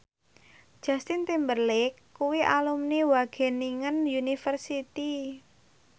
Justin Timberlake kuwi alumni Wageningen University